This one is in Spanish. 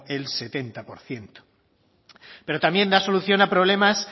el setenta por ciento pero también da solución a problemas